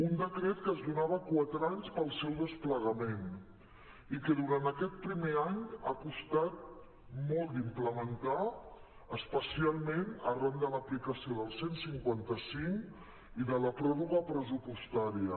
un decret que es do·nava quatre anys per al seu desplegament i que durant aquest primer any ha costat molt d’implementar especialment arran de l’aplicació del cent i cinquanta cinc i de la pròrroga pres·supostària